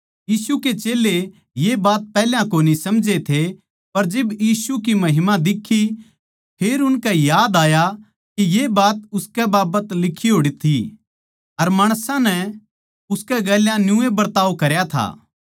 यीशु के चेल्लें ये बात पैहल्या कोनी समझे थे पर जिब यीशु की महिमा दिक्खी फेर उनकै याद आया के ये बात उसकै बाबत लिक्खी होड़ थी अर माणसां नै उसकै गेल्या न्यूए बिवार करया था